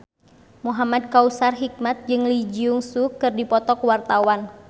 Muhamad Kautsar Hikmat jeung Lee Jeong Suk keur dipoto ku wartawan